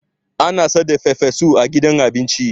ana saida farfesu a gida abinci